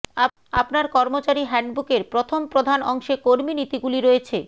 আপনার কর্মচারী হ্যান্ডবুকের প্রথম প্রধান অংশে কর্মী নীতিগুলি রয়েছে